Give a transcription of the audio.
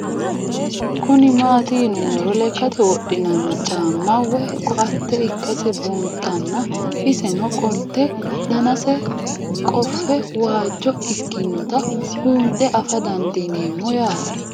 Kuni mati yiinumoro lekate wodhinani caama woyi kooate ikase bunxana iseno qolite danase qofe waajo ikinota bunxe afa dandinemo yaate